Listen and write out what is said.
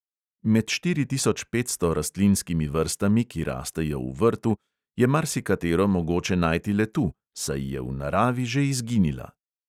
Med štiri tisoč petsto rastlinskimi vrstami, ki rastejo v vrtu, je marsikatero mogoče najti le tu, saj je v naravi že izginila.